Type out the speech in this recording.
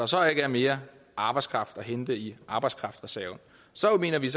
så ikke er mere arbejdskraft at hente i arbejdskraftreserven så mener vi